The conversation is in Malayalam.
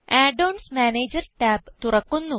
add ഓൺസ് മാനേജർ ടാബ് തുറക്കുന്നു